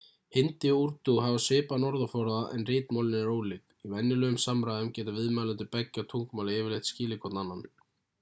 hindí og úrdú hafa svipaðan orðaforða en ritmálin eru ólík í venjulegum samræðum geta viðmælendur beggja tungumála yfirleitt skilið hvorn annan